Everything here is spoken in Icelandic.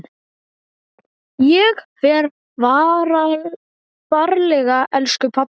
Ég fer varlega elsku pabbi.